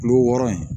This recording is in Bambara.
Kulo wɔɔrɔ in